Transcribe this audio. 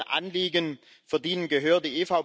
deren Anliegen verdienen Gehör.